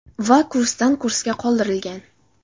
Va kursdan kursga qoldirilgan.